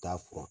Taa furan